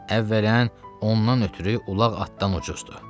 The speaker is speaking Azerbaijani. Əvvələn, ondan ötrü ulaq atdan ucuzdur.